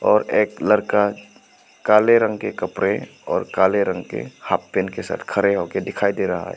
और एक लड़का काले रंग के कपड़े और काले रंग के हाफ पैंट के साथ खड़े होके दिखाई दे रहा है।